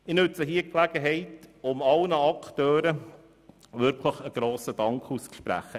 Ich nutze diese Gelegenheit, um wirklich allen Akteuren meinen Dank auszusprechen: